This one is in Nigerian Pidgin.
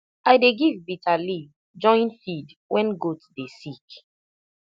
i dey give bitter leaf join feed when goat dey sick